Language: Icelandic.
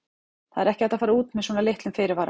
Það er ekki hægt að fara út með svona litlum fyrirvara.